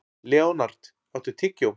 Leonhard, áttu tyggjó?